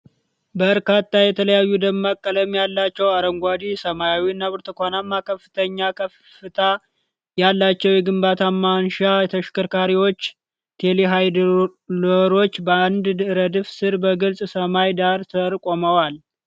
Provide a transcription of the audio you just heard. በርካታ የተለያዩ ደማቅ ቀለም ያላቸው (አረንጓዴ፣ ሰማያዊ እና ብርቱካናማ) ከፍተኛ ከፍታ ያላቸው የግንባታ ማንሻ ተሽከርካሪዎች (ቴሌሀንድለሮች) በአንድ ረድፍ ስር በግልጽ ሰማይ ዳራ ስር ቆመዋል።